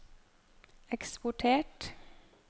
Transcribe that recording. eksportert